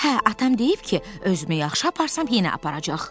Hə, atam deyib ki, özümü yaxşı aparsam yenə aparacaq.